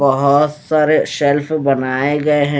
बहोत सारे सेल्फ बनाए गए हैं।